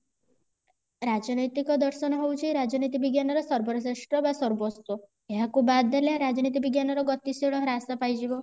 ରାଜନୈତିକ ଦର୍ଶନ ହେଉଚି ରାଜନୀତି ବିଜ୍ଞାନ ର ସର୍ବଶ୍ରେଷ୍ଠ ବା ସର୍ବସ୍ଵ ଏହାକୁ ବାଦ ଦେଲେ ରାଜନୀତି ବିଜ୍ଞାନ ର ଗତିଶୀଳ ହ୍ରାସ ପାଇଯିବ